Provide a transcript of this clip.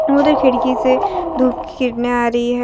और एक खिड़की से धूप की किरणे आ रही हैं।